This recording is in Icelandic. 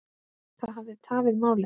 Það hafi tafið málið.